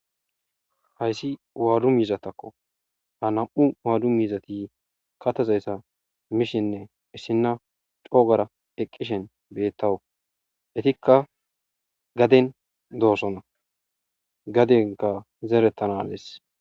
Hayssi wado mizatakko ha nam'u wado miizati kathaza mishinne issinaya co gaada ekishin betawus etikka gaden dosona gadenkka zeretanassa